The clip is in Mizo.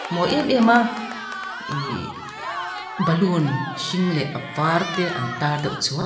mawi em em a ihhh balloon hring leh avar te antar deuh--